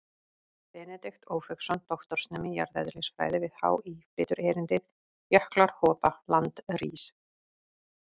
Benedikt Ófeigsson, doktorsnemi í jarðeðlisfræði við HÍ, flytur erindið: Jöklar hopa, land rís.